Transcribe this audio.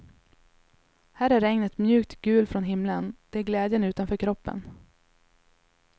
Här är regnet mjukt gul från himlen, det är glädjen utanför kroppen.